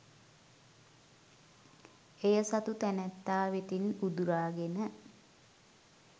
එය සතු තැනැත්තා වෙතින් උදුරාගෙන